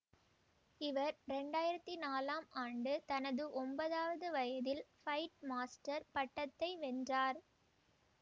இவர் ரேண்டு ஆயிரத்தி நாலாம் ஆண்டு தனது ஒம்பதாவது வயதில் பைட் மாஸ்டர் பட்டத்தை வென்றார்